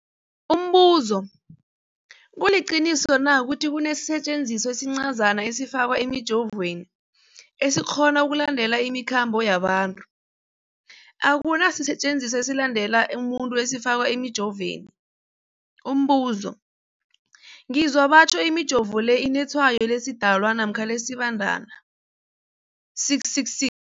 Umbuzo, kuliqiniso na ukuthi kunesisetjenziswa esincazana esifakwa emijovweni, esikghona ukulandelela imikhambo yabantu? Akuna sisetjenziswa esilandelela umuntu esifakwe emijoveni. Umbuzo, ngizwa batjho imijovo le inetshayo lesiDalwa namkha lesiBandana 666.